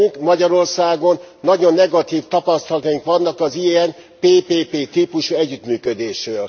Nekünk Magyarországon nagyon negatív tapasztalataink vannak az ilyen PPP típusú együttműködésről.